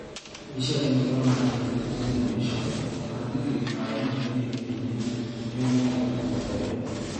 Mbica ĩno yonanĩtio nĩ daily nation ,Arũmĩrĩri a UDA-NU nĩo moire mĩgũnda ĩyo